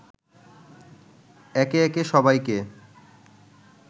একে একে সবাইকে